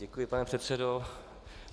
Děkuji, pane předsedo.